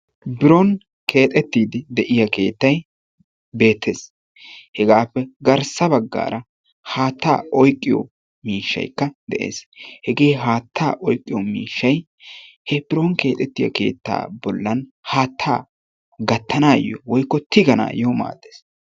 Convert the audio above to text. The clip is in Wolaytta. Biron keexettiiddi de"iya keettayi beettes. Hegaappe garssa baggaara haattaa oyqqiyo miishshaykka de"es. Hegee haattaa oyqqiyo miishshayi he biron keexettiya keettaa bollan haattaaa gattanaayyo woykko tiganayyo maaddes.